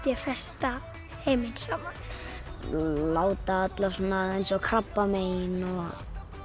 ég festa heiminn saman láta eins og krabbamein og